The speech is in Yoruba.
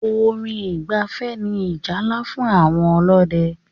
Orin ìgbafẹ́ ní ìjálá fún àwọn ọdẹ́.